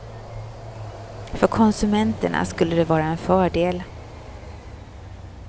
För konsumenterna skulle det vara en fördel.